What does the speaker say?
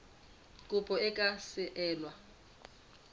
kopo e ka se elwe